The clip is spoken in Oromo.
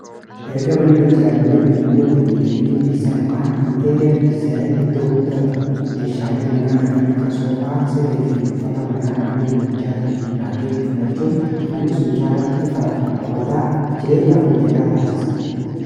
Erga manni ijaaramee dhume booda miidhaginni keessaa ykn intereer dizaayin iddoo guddaa qaba meeshaalee manaa kanneen akkas soofaa siree fi uffata manaa halluu manachaatiin irraadeemu filachuun manni sumcaalatti ifaa fi hawwataa jireenyaaf mijataa taasisa.